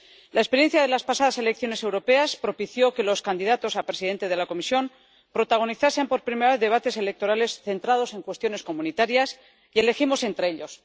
La experiencia de las pasadas elecciones europeas propició que los candidatos a presidente de la Comisión protagonizasen por primera vez debates electorales centrados en cuestiones comunitarias, y elegimos entre ellos.